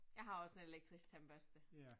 Jeg har også en elektrisk tandbørste